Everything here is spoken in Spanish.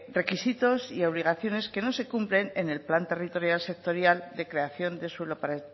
requisitos y obligaciones que no se cumplen en el plan territorial sectorial de creación de suelo para